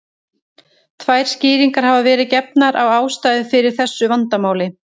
Tvær skýringar hafa verið gefnar á ástæðu fyrir þessu vandamáli.